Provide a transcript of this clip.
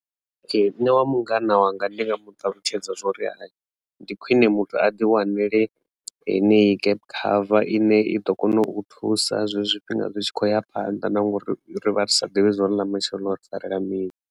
Ee, nṋe wa mungana wanga ndinga muṱalutshedza zwori hai ndi khwiṋe muthu a ḓi wanele heneyi gap cover ine i ḓo kona u thusa zwezwi zwifhinga zwi tshi khou ya phanḓa na ngori ri vha ri sa ḓivhi uri ḽa matshelo ḽo ri farela mini.